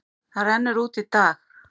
Það rennur út í dag.